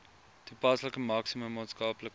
toepaslike maksimum maatskaplike